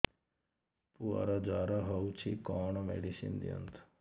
ପୁଅର ଜର ହଉଛି କଣ ମେଡିସିନ ଦିଅନ୍ତୁ